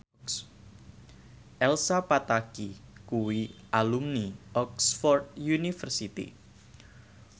Elsa Pataky kuwi alumni Oxford university